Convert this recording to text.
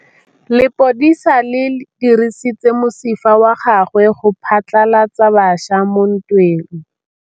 Lepodisa le dirisitse mosifa wa gagwe go phatlalatsa batšha mo ntweng.